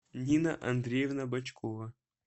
нина андреевна бочкова